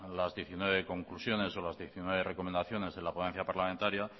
las diecinueve conclusiones o las diecinueve recomendaciones de la ponencia parlamentaria